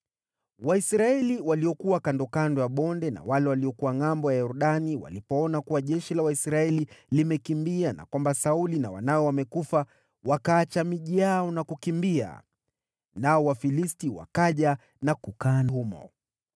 Waisraeli waliokuwa kandokando ya bonde na wale waliokuwa ngʼambo ya Yordani walipoona kuwa jeshi la Waisraeli limekimbia na kwamba Sauli na wanawe wamekufa, wakaacha miji yao na kukimbia. Nao Wafilisti wakaja na kukaa humo.